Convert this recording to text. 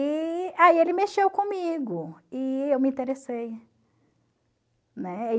E aí ele mexeu comigo e eu me interessei, né?